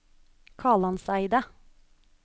Kalandseidet